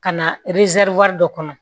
Ka na dɔ kɔnɔ